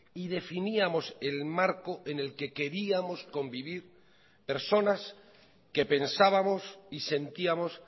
y definíamos el marco en el que queríamos convivir personas que pensábamos y sentíamos